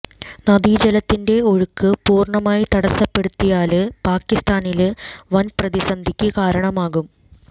നദീജലത്തിന്റെ ഒഴുക്ക് പൂര്ണമായി തടസ്സപ്പെടുത്തിയാല് പാകിസ്താനില് വന് പ്രതിസന്ധിക്ക് കാരണമാകും